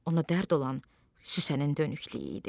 Ona dərd olan Süslənin dönüklüyü idi.